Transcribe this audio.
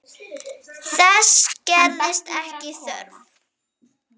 Þess gerist ekki þörf.